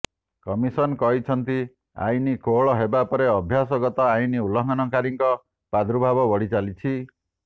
commission କହିଛନ୍ତି ଆଇନ କୋହଳ ହେବା ପରେ ଅଭ୍ୟାସଗତ ଆଇନ ଉଲ୍ଲଂଘନକାରୀଙ୍କ ପ୍ରାଦୁର୍ଭାବ ବଢ଼ି ଚାଲିଛି